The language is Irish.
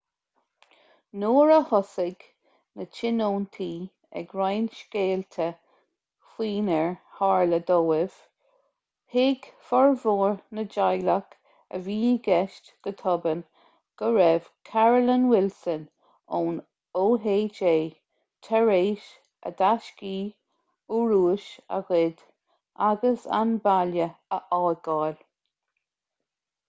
nuair a thosaigh na tionóntaí ag roinnt scéalta faoinar tharla dóibh thuig formhór na dteaghlach a bhí i gceist go tobann go raibh carolyn wilson ón oha tar éis a dtaiscí urrúis a ghoid agus an baile a fhágáil